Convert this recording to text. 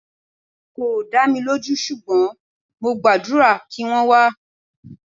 Kò dá mi lójú ṣùgbọ́n mo gbàdúrà kí wọ́n wá.